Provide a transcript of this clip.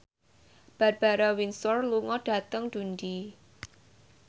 Barbara Windsor lunga dhateng Dundee